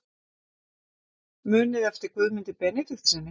Muniði eftir Guðmundi Benediktssyni?